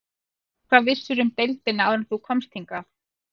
Hvað vissirðu um deildina áður en þú komst hingað?